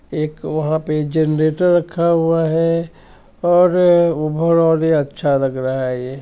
एक वहा पे जनरेंटर रखा हुवा है और अ उभ अच्छा लग रहा हेैं| ये --